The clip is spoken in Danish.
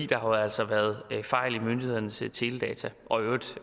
der har jo altså været fejl i myndighedernes teledata og i øvrigt